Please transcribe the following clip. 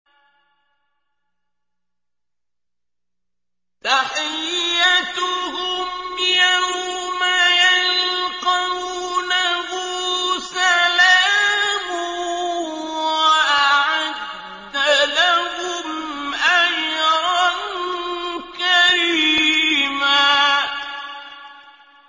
تَحِيَّتُهُمْ يَوْمَ يَلْقَوْنَهُ سَلَامٌ ۚ وَأَعَدَّ لَهُمْ أَجْرًا كَرِيمًا